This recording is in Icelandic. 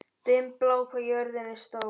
Dimmblá, hvað er jörðin stór?